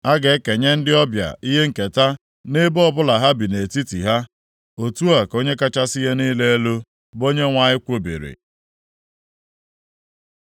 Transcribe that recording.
A ga-ekenye ndị ọbịa ihe nketa nʼebo ọbụla ha bi nʼetiti ha.” Otu a ka Onye kachasị ihe niile elu, bụ Onyenwe anyị kwubiri.